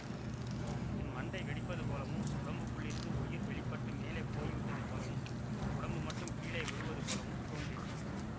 என் மண்டை வெடிப்பது போலவும் உடம்புக்குள்ளிருந்து உயிர் வெளி பட்டு மேலே போய்விட்டது போலவும் உடம்பு மட்டும் கீழே விழுவது போலவும் தோன்றியது